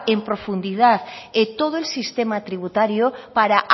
en profundidad todo el sistema tributario para a